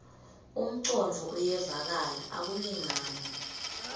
umcondvo uyevakala akulingani